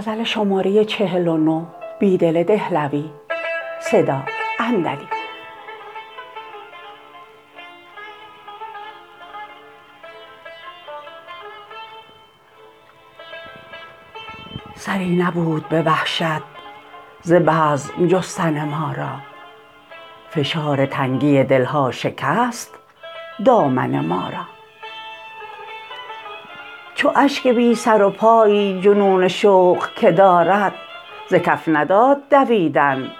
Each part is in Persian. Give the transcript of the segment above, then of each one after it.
سری نبود به وحشت ز بزم جستن ما را فشار تنگی دل ها شکست دامن ما را چو اشک بی سروپایی جنون شوق که دارد ز کف نداد دویدن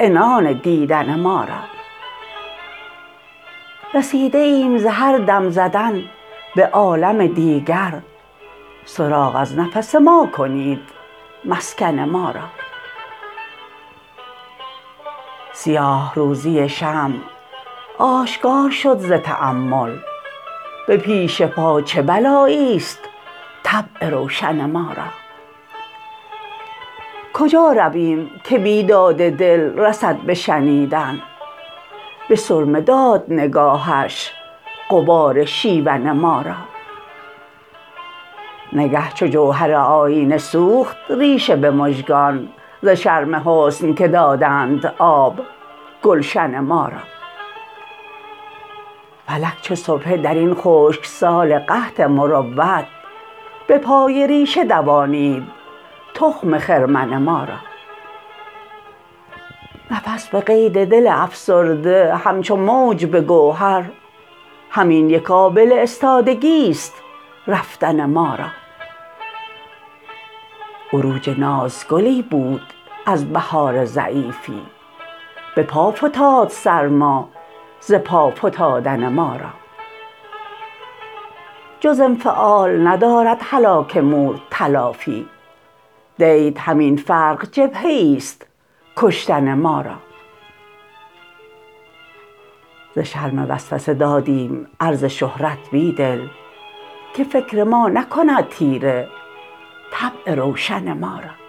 عنان دیدن ما را رسیده ایم ز هر دم زدن به عالم دیگر سراغ از نفس ما کنید مسکن ما را سیاه روزی شمع آشکار شد ز تأمل به پیش پا چه بلایی است طبع روشن ما را کجا رویم که بیداد دل رسد به شنیدن به سرمه داد نگاهش غبار شیون ما را نگه چو جوهر آیینه سوخت ریشه به مژگان ز شرم حسن که دادند آب گلشن ما را فلک چو سبحه در این خشکسال قحط مروت به پای ریشه دوانید تخم خرمن ما را نفس به قید دل افسرده همچو موج به گوهر همین یک آبله استادگی است رفتن ما را عروج ناز گلی بود از بهار ضعیفی به پا فتاد سر ما ز پا فتادن ما را جز انفعال ندارد هلاک مور تلافی دیت همین عرق جبهه ایست کشتن ما را ز شرم وسوسه دادیم عرض شهرت بیدل که فکر ما نکند تیره طبع روشن ما را